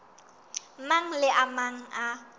mang le a mang a